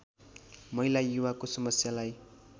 महिला युवाको समस्यालाई